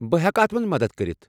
بہٕ ہٮ۪کہٕ اتھ منٛز مدد کٔرتھ ۔